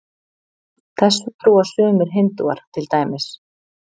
Þessu trúa sumir Hindúar til dæmis.